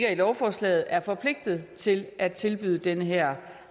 af lovforslaget er forpligtet til at tilbyde den her